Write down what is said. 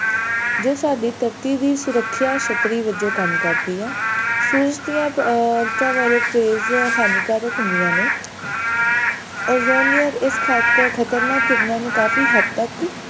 ਜੋ ਸਾਡੀ ਧਰਤੀ ਦੀ ਸੁਰੱਖਿਆ ਛੱਤਰੀ ਵੱਜੋਂ ਕੰਮ ਕਰਦੀ ਹੈ ਸੂਰਜ ਦੀਆਂ ultraviolet rays ਹਾਨੀਕਾਰਕ ਹੁੰਦੀਆਂ ਨੇ ozone layer ਇਸ ਖ਼ਤਰ~ ਖ਼ਤਰਨਾਕ ਕਿਰਨਾਂ ਨੂੰ ਕਾਫੀ ਹੱਦ ਤੱਕ,